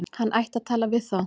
Hann ætti að tala við þá.